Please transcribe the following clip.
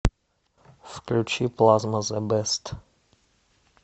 включи плазма зе бест